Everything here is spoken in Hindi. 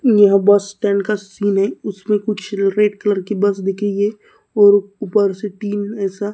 यह बस स्टैंड का सीन है उसमें कुछ बस दिखेंगे और ऊपर से तीन ऐसा--